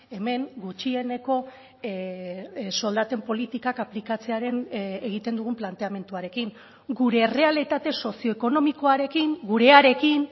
hemen gutxieneko soldaten politikak aplikatzearen egiten dugun planteamenduarekin gure errealitate sozioekonomikoarekin gurearekin